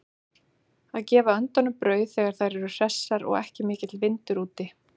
Að gefa öndunum brauð þegar þær eru hressar og ekki mikill vindur úti.